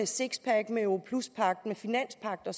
sixpack europluspagten og finanspagten og